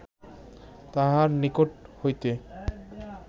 তাহার নিকট হইতে